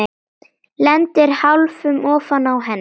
Lendir hálfur ofan á henni.